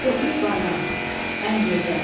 Tofiq Bayram, Ən gözəl.